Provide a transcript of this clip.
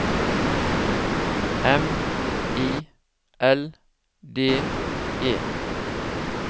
M I L D E